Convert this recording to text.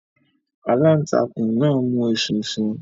Alantakun náà mu eṣinṣin